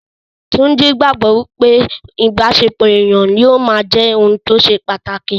Túnjí gbogbo pé ìbáṣepọ̀ ènìyàn yóò máa jẹ́ ohun tó ṣe pàtàkì